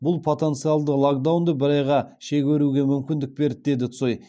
бұл потенциалды локдаунды бір айға шегеруге мүмкіндік берді деді цой